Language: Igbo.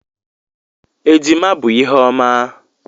Ejima bụ ihe ọma.